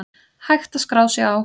Hægt að skrá sig á